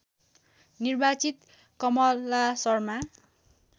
निर्वाचित कमला शर्मा